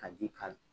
Ka ji k'a la